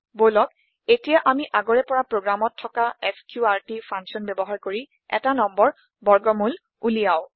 বলক এতিয়া আমি আগৰে পৰা প্ৰোগ্ৰামত থকা এছক্ৰুটি ফাংছন ব্যৱহাৰ কৰি এটা নম্বৰ বৰ্গমোল ওলিয়াও